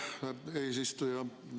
Aitäh, eesistuja!